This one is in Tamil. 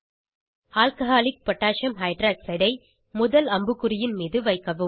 ஆல்கஹாலிக் பொட்டாசியம் ஹைட்ராக்சைட் alcகோஹ் ஐ முதல் அம்புகுறியின் மீது வைக்கவும்